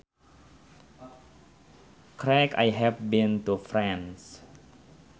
Correct I have been to France